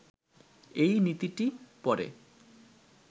এই নীতিটি পরে